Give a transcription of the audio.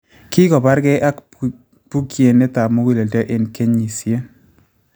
Kikobaarkey ak bookyinetab mugulelddo eng� kenyisiyen